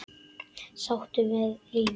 Sáttur við lífið.